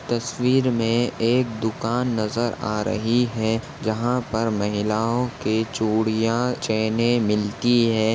तस्वीर में एक दुकान नज़र आ रही है जहा पर महिलाओ के चूड़िया चैने मिलती है।